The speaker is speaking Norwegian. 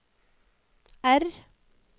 R